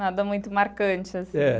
Nada muito marcante, assim. É.